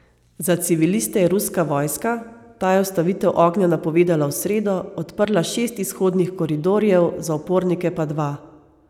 Za civiliste je ruska vojska, ta je ustavitev ognja napovedala v sredo, odprla šest izhodnih koridorjev, za upornike pa dva.